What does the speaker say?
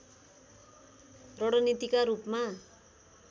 रणनीतिका रूपमा